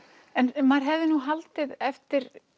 en maður hefði nú haldið eftir